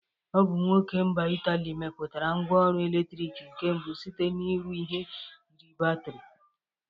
Ọ bụ nwoke mba Ịtalị meputara ngwa ọrụ eletrịk nke mbụ sita n'ịrụ ihi yiri batịrị.